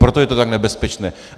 Proto je to tak nebezpečné.